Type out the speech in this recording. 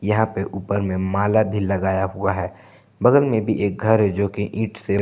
यहां पे ऊपर में माला भी लगाया हुआ है बगल में भी एक घर है जो की ईट से--